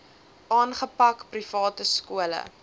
aangepak private skole